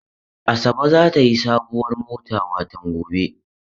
Asabe za ta yi sabuwar mota watan gobe.